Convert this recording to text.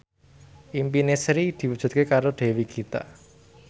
impine Sri diwujudke karo Dewi Gita